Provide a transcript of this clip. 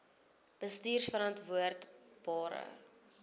bestuurverantwoordbare